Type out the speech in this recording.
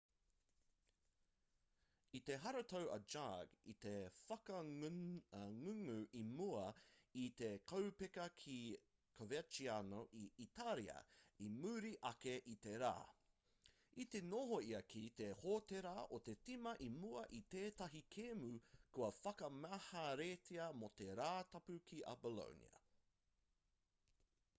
i te haratau a jargue i te whakangungu i mua i te kaupeka ki coverciano i itāria i muri ake i te rā i te noho ia ki te hōtēra o te tīma i mua i tētahi kēmu kua whakamaheretia mō te rātapu ki a bolonia